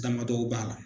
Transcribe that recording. Damadɔw b'a la